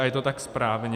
A je to tak správně.